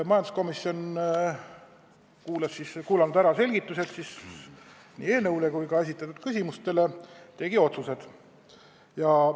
Kuulanud ära nii eelnõu selgitused kui ka vastused esitatud küsimustele, tegi majanduskomisjon otsused.